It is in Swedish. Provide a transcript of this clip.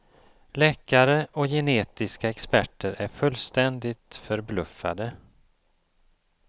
Läkare och genetiska experter är fullständigt förbluffade.